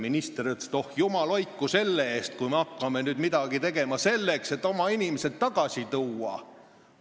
Minister ütles, et jumal hoidku selle eest, kui me hakkaksime midagi tegema selleks, et oma inimesi tagasi tuua!